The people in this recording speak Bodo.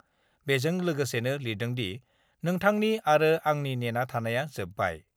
बेजों लोगोसेनो लिरदोंदि, नोंथांनि आरो आंनि नेना थानाया जोबबाय।